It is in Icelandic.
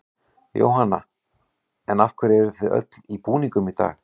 Jóhanna: En af hverju eruð þið öll í búningum í dag?